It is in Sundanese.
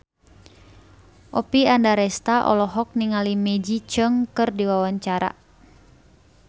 Oppie Andaresta olohok ningali Maggie Cheung keur diwawancara